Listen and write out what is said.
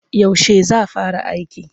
Yaushe za fara aiki?